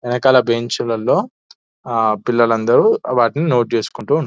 ఎనకాల బెంచ్ లలో ఆ పిల్లలందరూ వాటిని నోట్ చేసుకుంటూ --